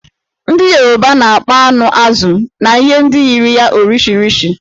Ndị Yoruba na-akpọ anụ, azụ̀ na ihe ndị yiri ya 'Orishirishi'.